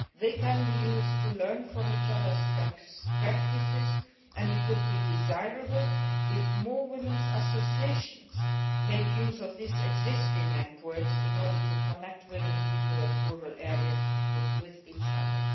They can be used to learn from each other's best practices and it would be desirable if more women's associations made use of these existing networks in order to connect women in different rural areas with each other.